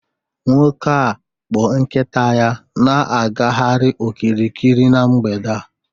Nwoke a kpụ nkita ya na-agagharị okirikiri n'mgbede a